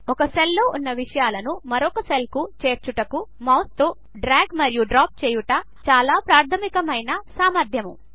ఒక సెల్లో ఉన్న విషయాలను మరొక సెల్కు చేర్చుటకు మౌస్తో డ్రాగ్ మరియు డ్రాప్ చేయుట చాలా ప్రాధమికమైన సామర్ధ్యము